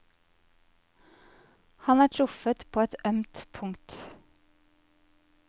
Han er truffet på et ømt punkt.